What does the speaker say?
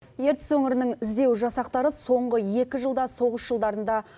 ертіс өңірінің іздеу жасақтары соңғы екі жылда соғыс жылдарында